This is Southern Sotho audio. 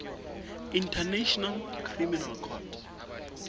international criminal court